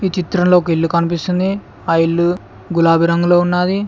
ఈ చిత్రంలో ఒక ఇల్లు కనిపిస్తుంది ఆ ఇల్లు గులాబి రంగులో ఉన్నాది.